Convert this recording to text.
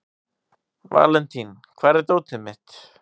Valentín, hvar er dótið mitt?